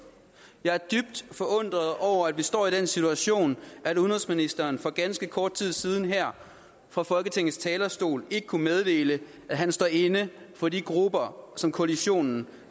jeg er dybt forundret over at vi står i den situation at udenrigsministeren for ganske kort tid siden her fra folketingets talerstol ikke kunne meddele at han står inde for de grupper som koalitionen